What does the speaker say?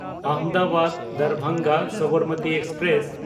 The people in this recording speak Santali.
ᱟᱦᱚᱢᱫᱟᱵᱟᱫ–ᱫᱟᱨᱵᱷᱟᱝᱜᱟ ᱥᱚᱵᱚᱨᱢᱚᱛᱤ ᱮᱠᱥᱯᱨᱮᱥ